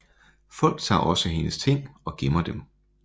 Folk tager også hendes ting og gemmer dem